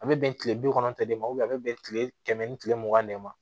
A bɛ bɛn kile bi kɔnɔntɔn de ma a bɛ bɛn kile kɛmɛ ni kile mugan de ma